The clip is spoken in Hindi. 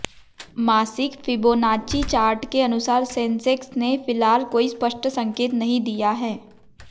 मासिक फिबोनाची चार्ट के अनुसार सेंसेक्स ने फिलहाल कोई स्पष्ट संकेत नहीं दिया है